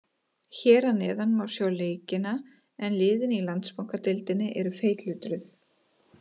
Hér að neðan má sjá leikina en liðin í Landsbankadeildinni eru feitletruð.